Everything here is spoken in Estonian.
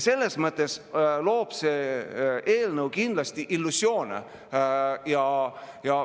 Selles mõttes loob see eelnõu kindlasti illusioone.